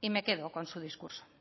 y me quedo con su discurso